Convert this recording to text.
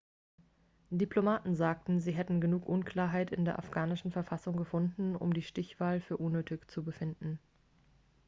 diplomaten sagten sie hätten genug unklarheit in der afghanischen verfassung gefunden um die stichwahl für unnötig zu befinden